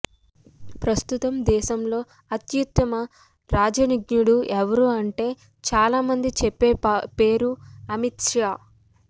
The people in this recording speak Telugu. ప్రస్తుతం దేశంలో అత్యుత్తమ రాజనీజ్ఞుడు ఎవరు అంటే చాలా మంది చెప్పే పేరు అమిత్షా